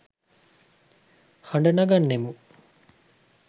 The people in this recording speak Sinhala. හඬ නගන්නෙමු.